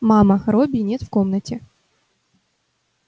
мама робби нет в комнате